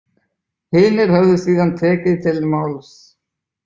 Hinir höfðu síðan tekið til máls.